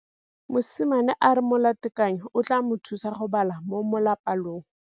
Mosimane a re molatekanyô o tla mo thusa go bala mo molapalong.